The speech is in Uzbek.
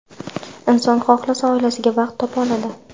Inson xohlasa, oilasiga vaqt topa oladi.